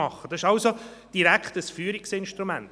Das ist also ein direktes Führungsinstrument.